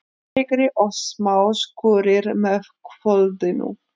Hægari og smá skúrir með kvöldinu